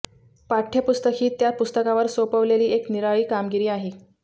पाठ्यपुस्तक ही त्या पुस्तकावर सोपवलेली एक निराळी कामगिरी आहे